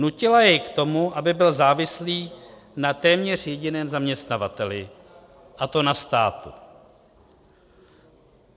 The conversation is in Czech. Nutila jej k tomu, aby byl závislý na téměř jediném zaměstnavateli, a to na státu.